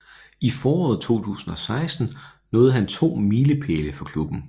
I foråret 2016 nåede han to milepæle for klubben